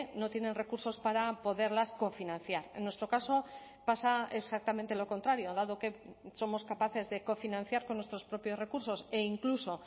no tienen recursos para poderlas cofinanciar en nuestro caso pasa exactamente lo contrario dado que somos capaces de cofinanciar con nuestros propios recursos e incluso